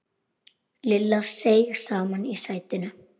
Lilla seig saman í sætinu.